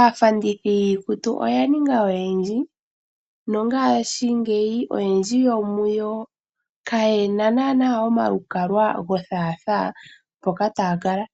Aafandethi yiikutu oya ninga oyendji nongashingeyi oyendji yo muyo kaye na naana omalukalwa gothaathaa mpoka taa kala,